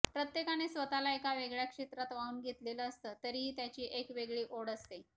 प्रत्येकाने स्वतःला एका वेगळ्या क्षेत्रात वाहून घेतलेलं असतं तरीही त्याची एक वेगळी ओढ असते